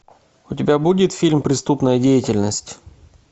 у тебя будет фильм преступная деятельность